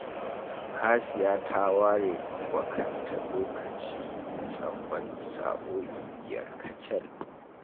Hasiya ta ware wa kanta lokacin karatu na tsawon sa'o'i biyar kacal